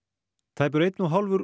tæpur einn og hálfur